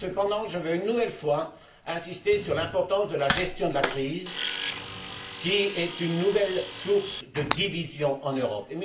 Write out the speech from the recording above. Cependant, je veux une nouvelle fois insister sur l'importance de la gestion de la crise qui est une nouvelle source de division en Europe.